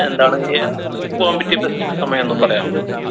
എന്താണ് ഇയാ അവിടേക്ക് പോവാൻ പറ്റിയ best സമയം എന്നും പറയാമോ